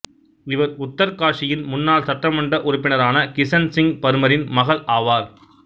இவர் உத்தர்காஷியின் முன்னாள் சட்டமன்ற உறுப்பினரான கிசன் சிங் பர்மரின் மகள் ஆவார்